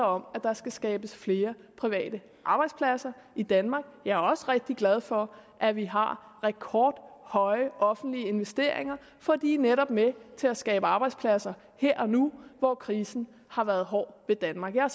om at der skal skabes flere private arbejdspladser i danmark jeg er også rigtig glad for at vi har rekordhøje offentlige investeringer for de er netop med til at skabe arbejdspladser her og nu hvor krisen har været hård ved danmark jeg er